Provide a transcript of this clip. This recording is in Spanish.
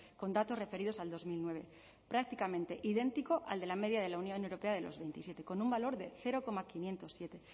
con datos referidos al dos mil nueve prácticamente idéntico al de la media de la unión europea de los veintisiete con un valor de cero coma quinientos siete